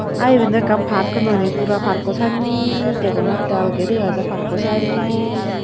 Ah iben do ekkan park nonay puro parko sannen degongotte aalge dega jai parko sannen.